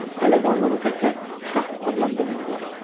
Hələ qanlımı təkcə şah adlandırmırlar.